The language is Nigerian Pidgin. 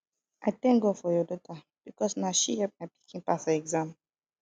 i thank god for your daughter because na she help my pikin pass her exam